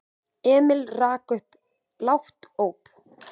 Emil rak upp lágt óp.